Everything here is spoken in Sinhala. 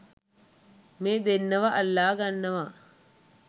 මේ දෙන්නව අල්ලගන්නවා